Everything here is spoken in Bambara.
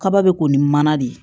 Kaba be ko ni mana de ye